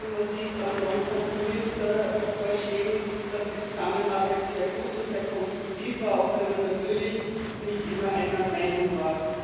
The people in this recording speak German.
Man sieht es an neuen Kompromissvorschlägen, dass die Zusammenarbeit sehr gut und sehr konstruktiv war, auch wenn man natürlich nicht immer einer Meinung war.